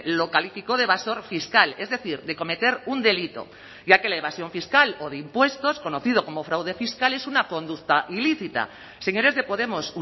lo calificó de evasor fiscal es decir de cometer un delito ya que la evasión fiscal o de impuestos conocido como fraude fiscal es una conducta ilícita señores de podemos